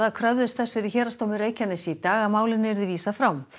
kröfðust þess fyrir Héraðsdómi Reykjaness í dag að málinu yrði vísað frá